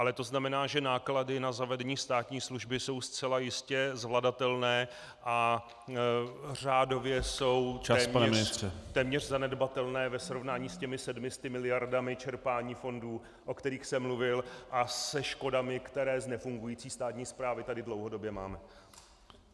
Ale to znamená, že náklady na zavedení státní služby jsou zcela jistě zvladatelné a řádově jsou téměř zanedbatelné ve srovnání s těmi 700 miliardami čerpání fondů, o kterých jsem mluvil, a se škodami, které z nefungující státní správy tady dlouhodobě máme.